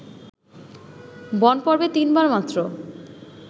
বনপর্বে তিনবার মাত্র